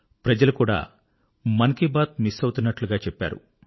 ప్రజలు కూడా మన్ కీ బాత్ మిస్ అవుతున్నట్టుగా చెప్పారు